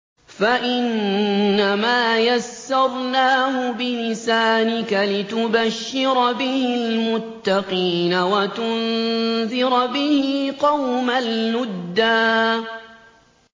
فَإِنَّمَا يَسَّرْنَاهُ بِلِسَانِكَ لِتُبَشِّرَ بِهِ الْمُتَّقِينَ وَتُنذِرَ بِهِ قَوْمًا لُّدًّا